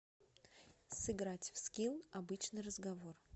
сыграть в скилл обычный разговор